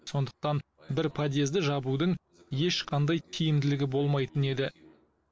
сондықтан бір подъезді жабудың ешқандай тиімділігі болмайтын еді